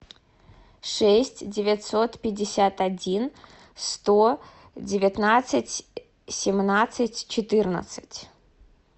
шесть девятьсот пятьдесят один сто девятнадцать семнадцать четырнадцать